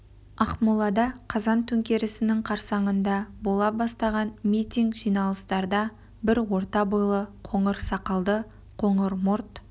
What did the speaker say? ақмолада қазан төңкерісінің қарсаңында бола бастаған митинг-жиылыстарда бір орта бойлы қоңыр сақалды қоңыр мұрт